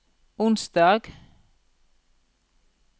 onsdag